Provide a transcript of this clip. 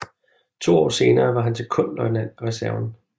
To år senere var han sekondløjtnant af reserven